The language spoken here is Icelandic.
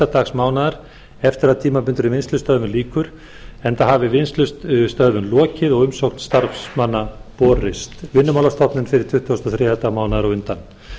dag mánaðarins eftir að tímabundinni vinnslustöðvun lýkur enda hafi vinnslustöðvun lokið og umsókn starfsmanns borist vinnumálastofnun fyrir tuttugasta og þriðja dag mánaðarins á undan